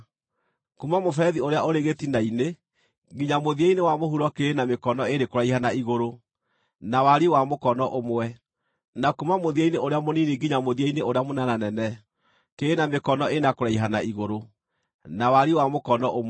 Kuuma mũberethi ũrĩa ũrĩ gĩtina-inĩ nginya mũthia-inĩ wa mũhuro kĩrĩ na mĩkono ĩĩrĩ kũraiha na igũrũ, na wariĩ wa mũkono ũmwe, na kuuma mũthia-inĩ ũrĩa mũnini nginya mũthia-inĩ ũrĩa mũnenanene, kĩrĩ na mĩkono ĩna kũraiha na igũrũ, na wariĩ wa mũkono ũmwe.